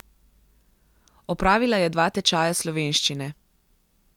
Opravila je dva tečaja slovenščine.